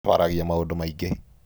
Twaragia maũndũ maingĩ.